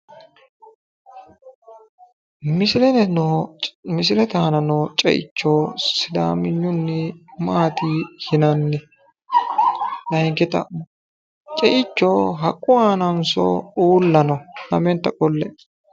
Misilete aana noo ceicho sidaaminyunni maati yinanni? Layinki xa'mo ceicho haqqu aananso uulla no lamenta qolle''e.